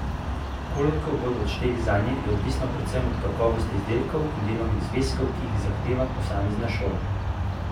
Koliko bodo odšteli zanje, je odvisno predvsem od kakovosti izdelkov in delovnih zvezkov, ki jih zahteva posamezne šola.